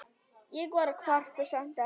Ég kvarta samt ekki.